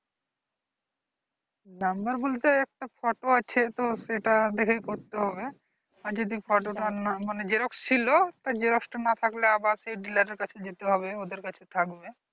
number বলতে একটা photo আছে তো সেটা দেখে করতে হবে। আর যদি photo টা না মানে xerox ছিল তা xerox টা না থাকলে আবার dealer কাছে যেতে হবে ওদের কাছে থাকবে।